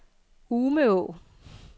Umeå